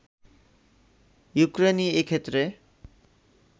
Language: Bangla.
ইউক্রেইন এ ক্ষেত্রে